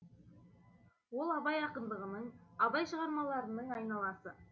ол абай ақындығының абай шығармаларының айналасы